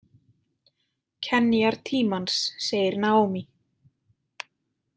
Kenjar tímans, segir Naomi.